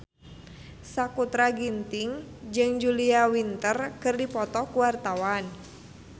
Sakutra Ginting jeung Julia Winter keur dipoto ku wartawan